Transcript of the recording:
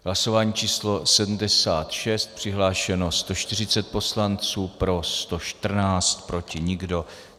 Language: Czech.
Hlasování číslo 76, přihlášeno 140 poslanců, pro 114, proti nikdo.